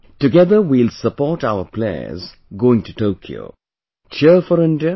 Together we will support our players going to Tokyo Cheer4India